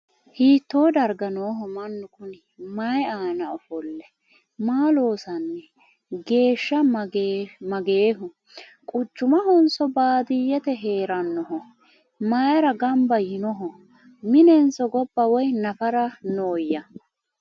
Hiitto dariga nooho mannu Kuni? Mayi aanna ofolle? Maa loosanni? Geeshsha mageehu? Quchumahonso ? Baadiyeette? Heerannoho? Mayiira gannabba yiinoho? Minenso gobba woy naffara nooya?